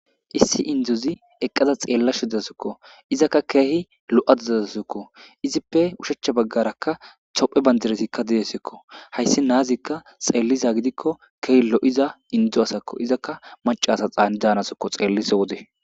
Issi izi eqqada xeella shudasukko izakka keehi lo'ata dadasukko izippe ushacha baggarakka tophe bandiresikka didesekko hayssi naazikka xeelliza gidikko keeh lo'iza indzu asakko izakka macaasaxaan daanasokko xeellisa wode